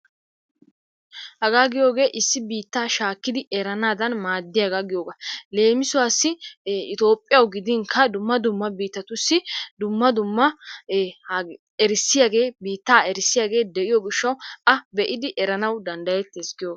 hagaa giyooge issi biitta shaakkidi erannadan maaddiyaaga giyooga. leemissuwassi Itoophiyaw gidin ha dumma dumma biittatussi dumma dumma erissiyaage biittaa erissiyaagee de'iyo gishshaw a be'idi eranaw danddayetees giyoogaa.